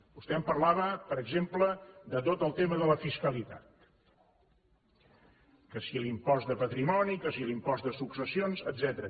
vostè em parlava per exemple de tot el tema de la fiscalitat que si l’impost de patrimoni que si l’impost de successions etcètera